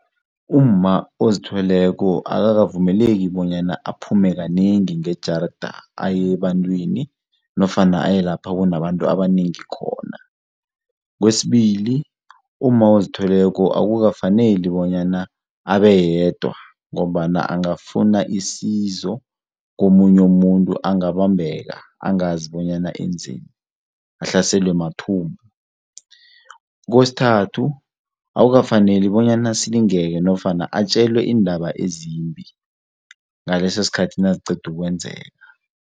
Umma ozithweleko akakavumeleki bonyana aphume kanengi ngejarda aye ebantwini nofana aye lapha kunabantu abanengi khona. Kwesibili, umma ozithweleko akukafaneli bonyana abe yedwa ngombana angafuna isizo komunye muntu, unganambeka angazi bonyana enzeni, ahlaselwe mathumbu. Kwesithathu akukafaneli bonyana asilingeke nofana atjelwe iindaba ezimbi ngaleso sikhathi naziqeda ukwenzeka.